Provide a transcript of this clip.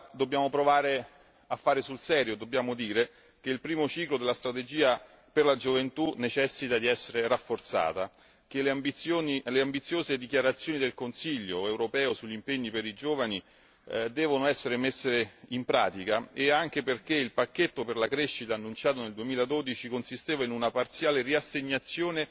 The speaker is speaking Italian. Dobbiamo dunque provare a fare sul serio, riconoscendo che il primo ciclo della strategia per la gioventù necessita di essere rafforzato, che le ambiziose dichiarazioni del Consiglio europeo sugli impegni per i giovani devono essere messe in pratica, anche perché il pacchetto per la crescita annunciato nel 2012 consisteva in una parziale riassegnazione